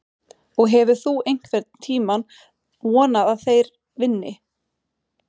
Og hefur þú einhvern tímann vonað að þeir vinni?